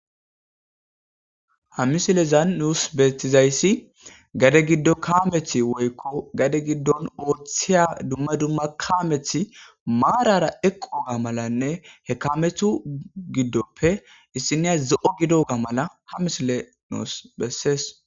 Ha misilezan nuusi beetizayis gade giddo kaameti woyko hmhade giddon oothiya dumma dumma kaameti maarara eqoga malanne he kaametu gidoppe issiniya zo'o gidoga mala ha misiley nuusi besesi.